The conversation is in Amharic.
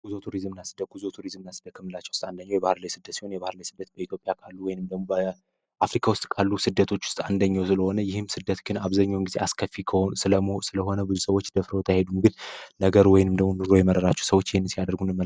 ጉዞ ቱሪዝም እና ስደት ጉዞ ቱሪዝም እና ስደ ከምንላቸው ውስጥ አንደኛው የባህር ላይ ስደት ሲሆን የባህር ላይ ስደት በኢትዮጵያ ካሉ ወይንም ደሞ በአፍሪካ ውስጥ ካሉ ስደቶች ውስጥ አንደኛው ስለሆነ ይህም ስደት ግን አብዘኛውን ጊዜ አስከፊ ስለሆነ ብዙ ሰዎች ደፍረውት አይሄዱም ነገር ግን ወይንም ደሞ ኑሮ የመረራቸው ሰዎች ይህንን ሲ ያደርጉ እንመለከታለን።